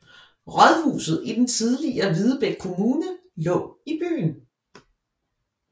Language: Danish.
Rådhuset i den tidligere Hvidebæk Kommune lå i byen